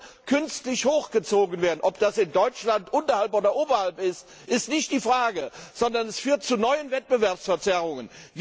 Jetzt soll künstlich hochgezogen werden, ob das in Deutschland nun unterhalb oder oberhalb ist, ist nicht die Frage, sondern dies führt zu neuen Wettbewerbsverzerrungen.